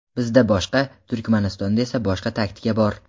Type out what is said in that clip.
Bizda boshqa, Turkmanistonda esa boshqacha taktika bor.